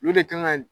Olu de kan ka